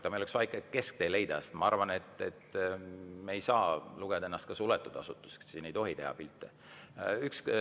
Aga meil oleks ikka vaja leida kesktee, sest ma arvan, et me ei saa lugeda ennast ka suletud asutuseks, et siin ei tohi pilte teha.